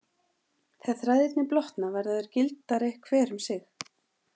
Þegar þræðirnir blotna verða þeir gildari hver um sig.